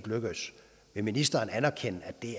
lykkedes vil ministeren anerkende at det